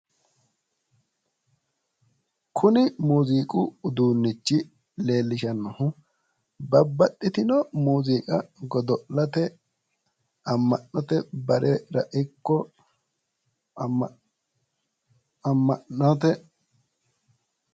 Kuni muuziqqu uduunnichi leellishannohu, babbaxxitino muuziiqa godo'late ama'note barera ikko amma'note